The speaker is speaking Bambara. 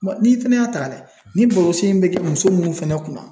N'i fɛnɛ y'a ta ka lajɛ ni balosi be kɛ muso munnu fɛnɛ kunna